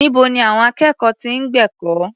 Níbo ni àwọn akẹ́kọ̀ọ́ ti ń gbẹ̀kọ́?